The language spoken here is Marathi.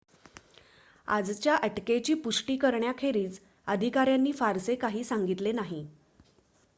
आजच्या अटकेची पुष्टि करण्याखेरीज अधिकाऱ्यांनी फारसे काही सांगितले नाही